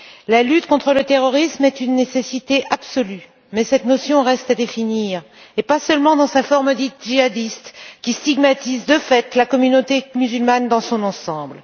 La lutte contre le terrorisme est une nécessité absolue, mais cette notion reste à définir, et pas seulement dans sa forme dite djihadiste, qui stigmatise de fait la communauté musulmane dans son ensemble.